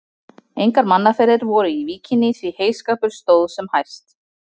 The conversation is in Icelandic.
Engar mannaferðir voru í víkinni, því heyskapur stóð sem hæst.